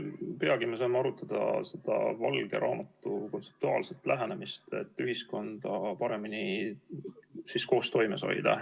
Peagi me saame arutada valge raamatu kontseptuaalset lähenemist, et ühiskonda paremini koostoimes hoida.